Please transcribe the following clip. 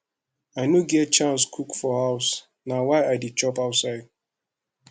i no dey get chance cook for house na why i dey chop outside